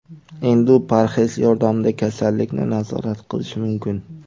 Endi u parhez yordamida kasallikni nazorat qilishi mumkin.